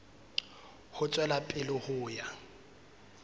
ho tswela pele ho ya